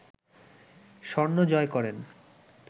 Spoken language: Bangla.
স্বর্ণ জয় করেন